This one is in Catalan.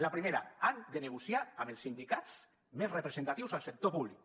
la primera han de negociar amb els sindicats més representatius al sector públic